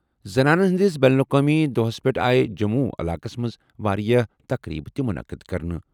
زنانَن ہِنٛدِس بین الاقوٲمی دۄہَس پٮ۪ٹھ آیہِ جموں علاقَس منٛز واریٛاہ تقریٖبہٕ تہِ مُنعقد کرنہٕ۔